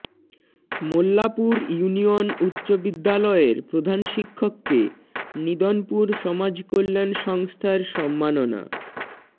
Mollapur union উচ্চ বিদ্যালয়ের প্রধানশিক্ষককে নিদনপুর সমাজকল্যাণ সংস্থার সম্মাননা